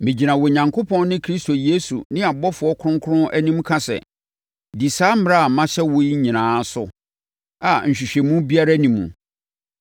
Megyina Onyankopɔn ne Kristo Yesu ne abɔfoɔ kronkron anim ka sɛ, di saa mmara a mahyɛ wo yi nyinaa so a nhwɛanimu biara nni mu.